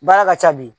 Baara ka ca bi